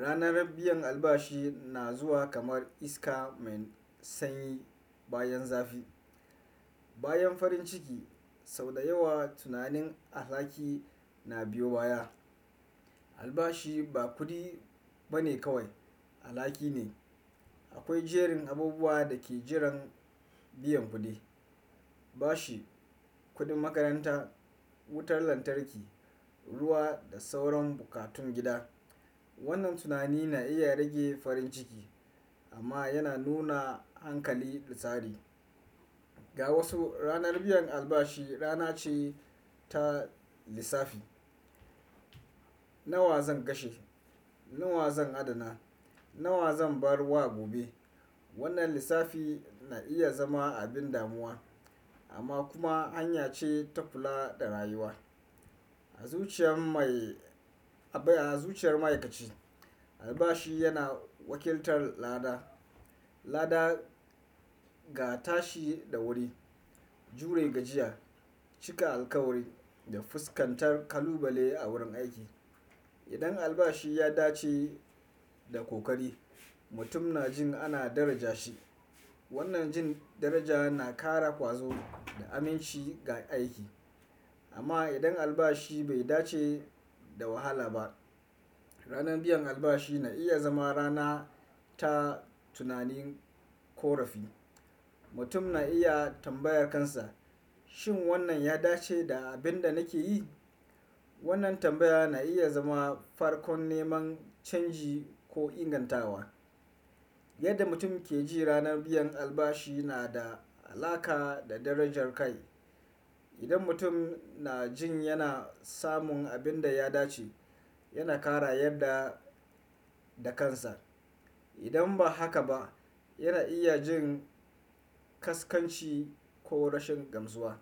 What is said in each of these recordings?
ranar biyan albashi na zuwa kamar iska mai sanyi bayan zafi. Bayan farin ciki, sau da yawa tunanin alhaki na biyo baya. Albashi ba kuɗi bane kawai, alhaki ne. Akwai jerin abubuwa da ke jiran biyan kuɗi, bashi, kuɗin makaranta, wutar lantarki, ruwa da sauran bukatun gida. Wannan tunani na iya rage farin ciki amma yana nuna hankali da tsari. Ga wasu, ranar biyan albashi rana ce ta lissafi. Nawa zan kashe? Nawa zan adana? Nawa zan barwa gobe? Wannan lissafi na iya zama abin damuwa amma kuma hanya ce ta kula da rayuwa. A zuciyar mai-- a zuciyar ma'aikaci, albashi yana wakiltar lada, lada ga tashi da wuri, jure gajiya, cika alkawari da fuskantar kalubale a wurin aiki. Idan albashi ya dace da kokari, mutum na jin ana daraja shi. Wannan jin daraja na ƙara ƙwazo da aminci ga aiki. Amma idan albashi bai dace da wahala ba, ranar biyan albashi na iya zama rana ta tunanin ƙorafi. Mutum na iya tambayar kansa, "Shin wannan ya dace da abin da nake yi?" Wannan tambaya na iya zama farkon neman canji ko ingantawa. Yadda mutum ke ji ranar biyan albashi na da alaƙa da darajar kai. Idan mutum na jin yana samun abin da ya dace, yana ƙara yarda da kansa. Idan ba haka ba, yana iya jin ƙasƙanci ko rashin gamsuwa.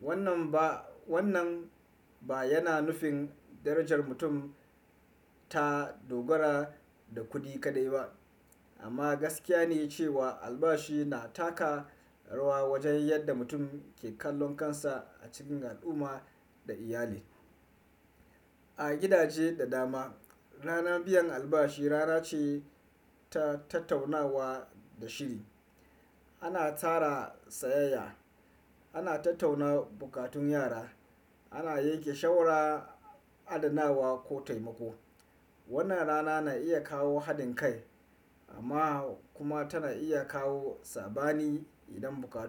Wannan ba, wannan ba yana nufin darajar mutum ta dogara da kuɗi kaɗai ba amma gaskiya ne cewa albashi na taka rawa wajen yadda mutum ke kallon kansa a cikin al'umma da iyali. A gidaje da dama, ranar biyan albashi rana ce ta tattaunawa da shiri. Ana tara sayayya, ana tattauna bukatun yara, ana yanke shawara, adanawa ko taimako. Wannan rana na iya kawo haɗin kai amma kuma tana iya kawo saɓani idan buƙatu.